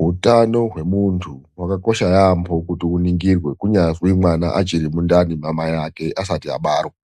Hutano wemundu hwakakosha yambo kuti uningirwe hunyazi mwana wakona achiri mundani mamayake mimba yakona isati yabarwa.